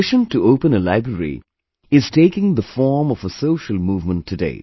His mission to open a library is taking the form of a social movement today